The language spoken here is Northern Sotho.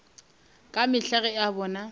ka mehla ge a bona